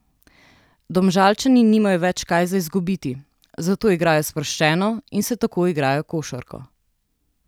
Domžalčani nimajo več kaj za izgubiti, zato igrajo sproščeno in se tako igrajo košarko.